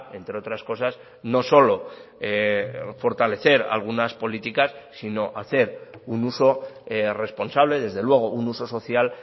entre otras cosas no solo fortalecer algunas políticas sino hacer un uso responsable desde luego un uso social